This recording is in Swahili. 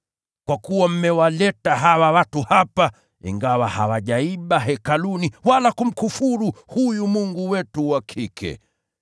Kwa kuwa mmewaleta hawa watu hapa, ingawa hawajaiba hekaluni wala kumkufuru huyu mungu wetu wa kike.